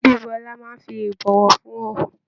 Bíbú ọlá máa n fí ibọwọfún hàn.